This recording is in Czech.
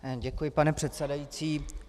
Děkuji, pane předsedající.